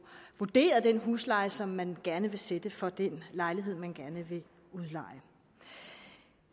vurderet den husleje som man gerne vil sætte for den lejlighed man gerne vil udleje